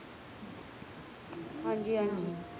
ਹਨ ਜੀ ਹਨ ਜੀ